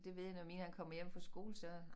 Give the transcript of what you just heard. Det ved jeg når min han kommer hjem fra skole så